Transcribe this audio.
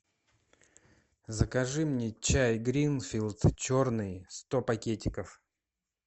закажи мне чай гринфилд черный сто пакетиков